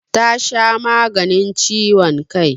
Ta sha maganin ciwon kai.